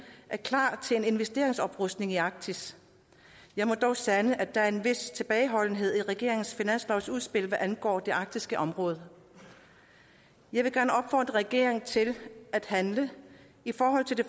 er klar til en investeringsoprustning i arktis jeg må dog sande at der er en vis tilbageholdenhed i regeringens finanslovsudspil hvad angår det arktiske område jeg vil gerne opfordre regeringen til at handle i forhold til det